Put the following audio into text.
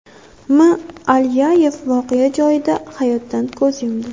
M. Alyayev voqea joyida hayotdan ko‘z yumdi.